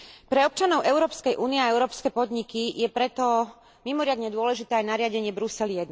Pre občanov Európskej únie a európske podniky je preto mimoriadne dôležité aj nariadenie Brusel I.